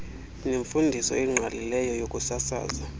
nemfundiso engqalileyo yokusasaza